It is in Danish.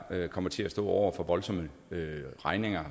kommer til at stå over for voldsomme regninger